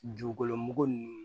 Dugukolo mugu ninnu